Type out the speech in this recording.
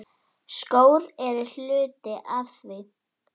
Skór eru hluti af því.